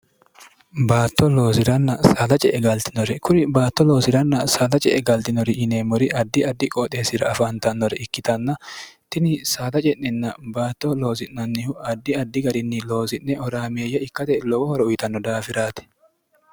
baatto loosiranna saada ce e galtinore kuri baatto loosi'ranna saada ce e galdinori yineemmori addi addi qooxeessira afaantannore ikkitanna tini saada ce'nenna baatto loozi'nannihu addi addi garinni loosi'ne oraameeyya ikkate lowohoro uyitanno daafiraati